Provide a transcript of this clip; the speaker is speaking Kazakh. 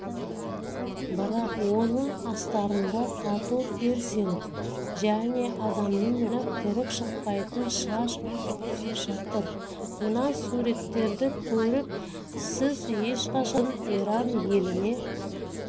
бірақ оның астарында тату пирсинг және адамның ойына кіріп-шықпайтын шаш үлгілері жатыр мына суреттерді көріп сіз ешқашан да бұлардың иран еліне